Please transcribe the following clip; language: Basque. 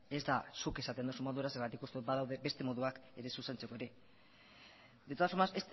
ez da zuk esaten duzun modura zergatik badaude beste moduak ere zuzentzeko ere